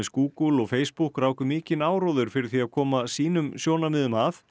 Google og Facebook ráku mikinn áróður fyrir því að koma sínum sjónarmiðum að